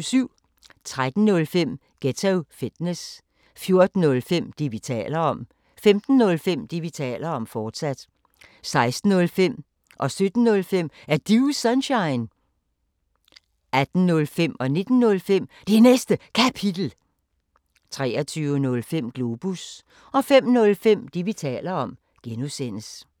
13:05: Ghetto Fitness 14:05: Det, vi taler om 15:05: Det, vi taler om, fortsat 16:05: Er Du Sunshine? 17:05: Er Du Sunshine? 18:05: Det Næste Kapitel 19:05: Det Næste Kapitel, fortsat 23:05: Globus 05:05: Det, vi taler om (G)